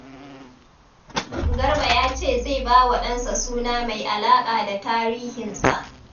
Garba ya ce zai ba wa ɗansa suna mai alaƙa da tarihinsa.